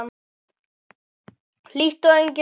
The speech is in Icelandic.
Hlýtt og enginn vindur.